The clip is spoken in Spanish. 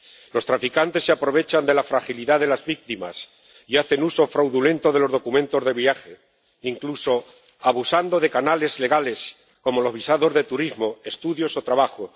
Los traficantes se aprovechan de la fragilidad de las víctimas y hacen uso fraudulento de los documentos de viaje, incluso abusando de canales legales como los visados de turismo, estudios o trabajo.